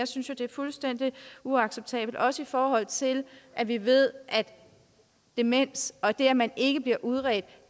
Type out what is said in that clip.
synes det er fuldstændig uacceptabelt også i forhold til at vi ved at demens og det at man ikke bliver udredt